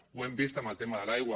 ho hem vist amb el tema de l’aigua